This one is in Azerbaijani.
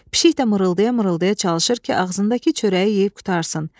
Pişik də mırıltaya-mırıltaya çalışır ki, ağzındakı çörəyi yeyib qurtarsın.